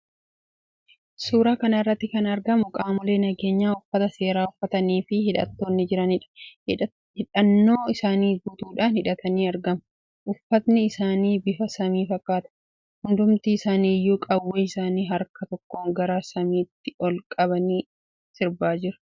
Suuraa kana irratti kan argamu qaamolee nageenyaa uffata seeraa uffataniifi hidhatanii jiraniidha. Hidhannoo isaanii guutuudhaan hidhatanii argamu. Uffatni isaanii bifa samii fakkaata. Hundumti isaaniiyyuu qawwee isaanii harka tokkoon gara samiitti ol qabanii sirbaa jiru.